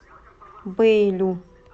бэйлю